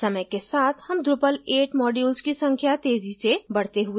समय के साथ हम drupal 8 modules की संख्या तेजी से बढते हुए देखेंगे